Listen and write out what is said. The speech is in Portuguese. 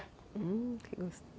Hum... Que gos